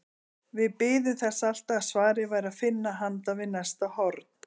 Við biðum þess alltaf að svarið væri að finna handan við næsta horn.